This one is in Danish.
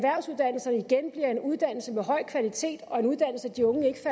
høj kvalitet og at de unge ikke